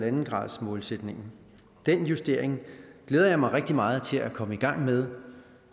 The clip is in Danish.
en gradersmålsætningen den justering glæder jeg mig rigtig meget til at komme i gang med